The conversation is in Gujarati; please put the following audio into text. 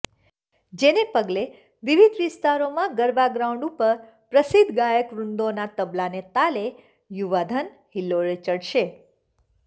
જેને પગલે વિવિધ વિસ્તારોમાં ગરબા ગ્રાઉન્ડ ઉપર પ્રસિદ્ધ ગાયકવૃંદોના તબલાના તાલે યુવાધન હિલ્લોળે ચઢશે